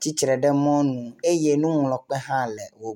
tsitre ɖe mɔnu eye nuŋlɔkpe hã le wo gbɔ.